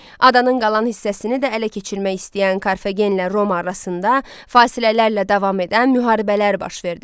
Adanın qalan hissəsini də ələ keçirmək istəyən Karfagenlə Roma arasında fasilələrlə davam edən müharibələr baş verdi.